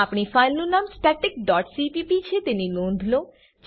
આપણી ફાઈલનું નામ સ્ટેટિક ડોટ સીપીપી છે તેની નોંધ લો